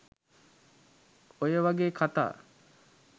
ඔය වගේ කථා